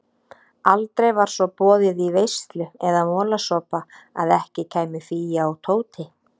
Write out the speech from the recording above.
Aldrei var svo boðið í veislu eða molasopa að ekki kæmu Fía og Tóti.